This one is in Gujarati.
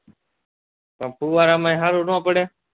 ફુવારામાં નાવું નો પડે